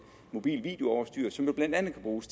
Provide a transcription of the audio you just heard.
mobilt videoudstyr som blandt andet kan bruges